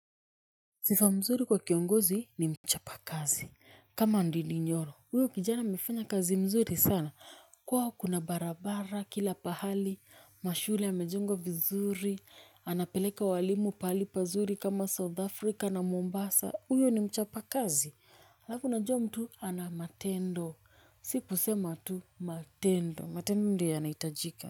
Sifa mzuri kwa kiongozi ni mchapa kazi kama ndidi nyoro uyo kijana amefanya kazi mzuri sana kuwa kuna barabara kila pahali mashule amejengwa vizuri anapeleka walimu pahali pazuri kama south afrika na mombasa uyo ni mchapa kazi alafu unajua mtu ana matendo siku sema tu matendo matendo ndio yanaitajika.